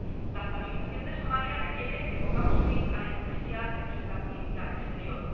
La estabilización de Somalia requiere que pongamos fin a la hipocresía de nuestra política exterior.